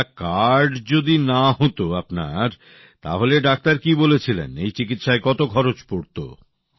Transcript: আচ্ছা কার্ড যদি না হত আপনার তাহলে ডাক্তার কি বলেছিলেন এই চিকিৎসায় কত খরচ পড়ত